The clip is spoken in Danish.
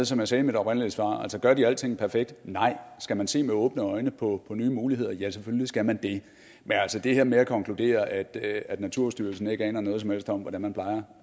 som jeg sagde i mit oprindelige svar gør de alting perfekt nej skal man se med åbne øjne på nye muligheder ja selvfølgelig skal man det men altså det her med at konkludere at at naturstyrelsen ikke aner noget som helst om hvordan man plejer